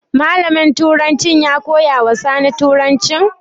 Malamin turancin ya koya wa Sani turancin?